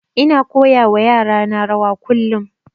Ina koya wa yara na rawa kullum